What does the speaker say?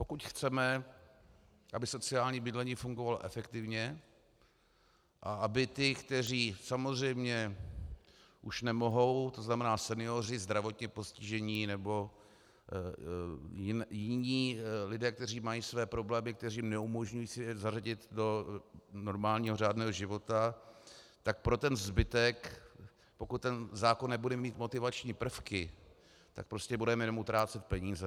Pokud chceme, aby sociální bydlení fungovalo efektivně a aby ti, kteří samozřejmě už nemohou, to znamená senioři, zdravotně postižení nebo jiní lidé, kteří mají své problémy, které jim neumožňují se zařadit do normálního řádného života, tak pro ten zbytek, pokud ten zákon nebude mít motivační prvky, tak prostě budeme jenom utrácet peníze.